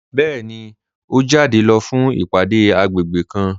Bẹẹni, o jáde lọ fún ìpádé agbègbè kàn.